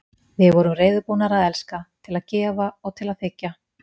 Við vorum reiðubúnar til að elska, til að gefa og til að þiggja.